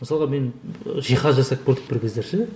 мысалға мен жиһаз жасап көрдік бір кездері ше